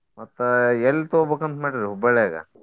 ಮತ್ತ ಎಲ್ ತೊಗೋಬೇಕಂತ ಮಾಡಿರಿ Hubballi ಆಗ.